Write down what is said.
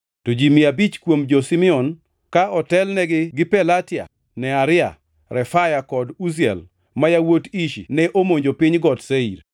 To ji mia abich kuom jo-Simeon, ka otelnigi gi Pelatia, Nearia, Refaya kod Uziel, ma yawuot Ishi ne omonjo piny got Seir.